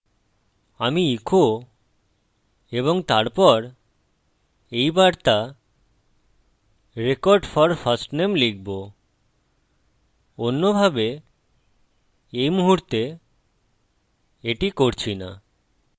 আমি echo এবং তারপর এই বার্তা record for firstname লিখব অন্যভাবে এই মুহুর্তে এটি করছি না